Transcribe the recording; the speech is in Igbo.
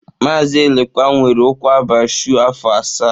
Mazi Elekwa nwere ụkwụ abaa shụụ afọ asaa.